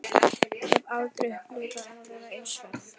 Ég hef aldrei upplifað aðra eins ferð.